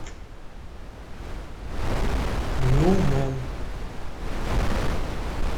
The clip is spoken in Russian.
люмен